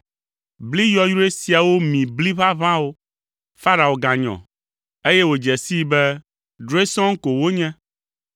Bli yɔyrɔe siawo mi bli ʋaʋãwo! Farao ganyɔ, eye wòdze sii be drɔ̃e sɔŋ ko wonye.